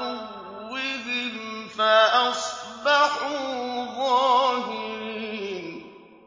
عَدُوِّهِمْ فَأَصْبَحُوا ظَاهِرِينَ